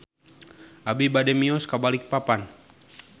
Abi bade mios ka Balikpapan